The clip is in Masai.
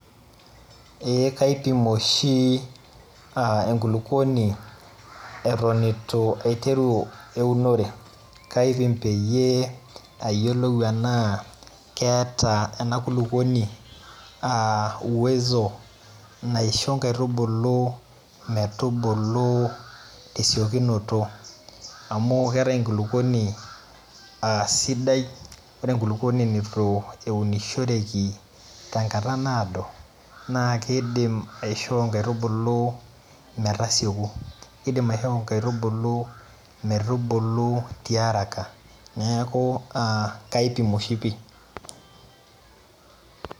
Ee kaipim oshi enkulukuoni atan itu aiteru eunore, kaipim peyie ayiolou enaa keeta enakulukuoni aa uwezo naisho nkaitubulu metubulu tesiokinoto amu keetae enkulukuoni asidai, ore ituenishoreki tenkata naado na kidim aishoo nkaitubulu metasieku, kidim aishoo nkaitubulu metubulu ti araka neaku a kaipim oshi pii.